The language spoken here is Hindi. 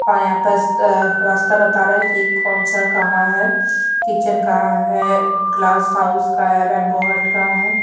और यहाँ पस अ रास्ता बता रहा है कि कौन सा कहाँ है किचेन कहाँ है ग्लास हाउस कहाँ है रेम्बो हट कहाँ है।